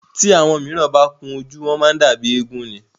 Tí àwọn míràn bá kun ojú, wọ́n má ń dàbí éégún ni.